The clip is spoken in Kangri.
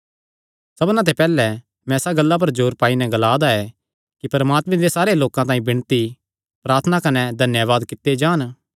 सबना ते पैहल्लैं मैं इसा गल्ला पर जोर पाई नैं ग्लांदा ऐ कि परमात्मे दे सारे लोकां तांई विणती प्रार्थना कने धन्यावाद कित्ते जान